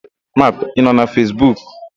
Ị nọ na Fesbuk?